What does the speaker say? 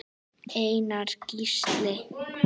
Einar Gísli.